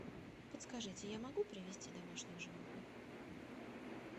подскажите я могу привести домашних животных